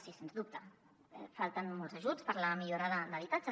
sí sens dubte falten molts ajuts per a la millora d’habitatges